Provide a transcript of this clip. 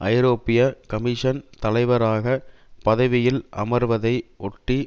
ஐரோப்பிய கமிஷன் தலைவராக பதவியில் அமர்வதை ஒட்டி